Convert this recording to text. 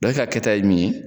e ka kɛta ye mun ye